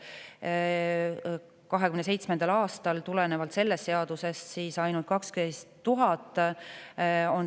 2027. aastal on tulenevalt sellest seadusest IT-arenduse kulu ainult 12 000 eurot.